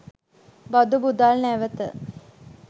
බදු මුදල් නැවත